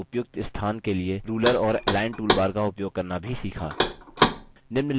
और objects के उपयुक्त स्थान के लिए ruler और align toolbar का उपयोग करना भी सीखा